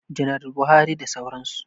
Janaral Buhari da sauran su